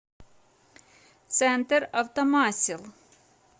центр автомасел